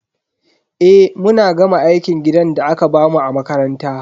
Eh, mun gama aikin gidan da aka bamu a makaranta.